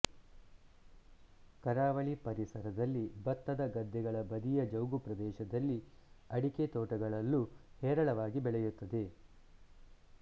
ಕರಾವಳಿ ಪರಿಸರದಲ್ಲಿ ಭತ್ತದ ಗದ್ದೆಗಳ ಬದಿಯ ಜೌಗು ಪ್ರದೇಶದಲ್ಲಿ ಅಡಿಕೆತೋಟಗಳಲ್ಲೂ ಹೇರಳವಾಗಿ ಬೆಳೆಯುತ್ತದೆ